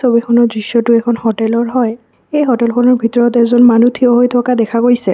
ছবিখনৰ দৃশ্যটো এখন হোটেলৰ হয় এই হোটেলখনৰ ভিতৰত এজন মানুহ থিয় হৈ থকা দেখা গৈছে।